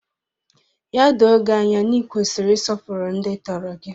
Ya doo gị anya na ị kwesịrị ịsọpụrụ ndị tọrọ gị!